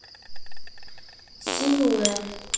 синьлэ